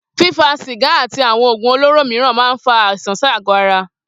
Fífa sìgá àti àwo̩n ògùn olóró mìíràn máa ń fa àìsàn sí àgó̩ ara